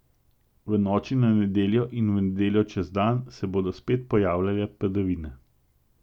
V noči na nedeljo in v nedeljo čez dan se bodo spet pojavljale padavine.